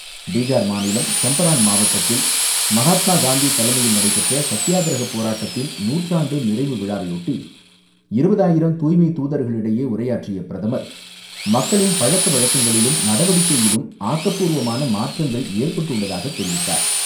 பீகார் மாநிலம் சம்பரான் மாவட்டத்தில் மகாத்மா காந்தி தலைமையில் நடைபெற்ற சத்தியாகிரஹ போராட்டத்தின் நூற்றாண்டு நிறைவு விழாவையொட்டி, இருபதாயிரம் தூய்மை தூதர்களிடையே உரையாற்றிய பிரதமர், மக்களின் பழக்க வழக்கங்களிலும், நடவடிக்கையிலும் ஆக்கப்பூர்வமான மாற்றங்கள் ஏற்பட்டுள்ளதாக தெரிவித்தார்.